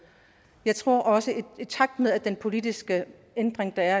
jeg tror også at i takt med at den politiske ændring der